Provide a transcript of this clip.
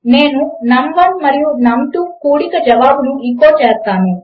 నేను నమ్1 మరియు నమ్2 కూడిక జవాబును ఎచో చేస్తాను